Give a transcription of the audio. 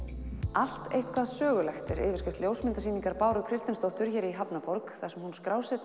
allt eitthvað sögulegt er yfirskrift ljósmyndasýningar Báru Kristinsdóttur hér í hafnarborg þar sem hún